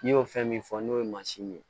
N'i y'o fɛn min fɔ n'o ye mansin ye